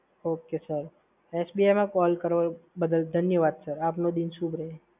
okay, sir SBI મા call કરવા બદલ ધન્યવાદ સર, આપનો દિન શુભ રહે.